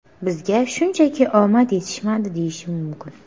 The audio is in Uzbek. Bizga shunchaki omad yetishmadi, deyishim mumkin.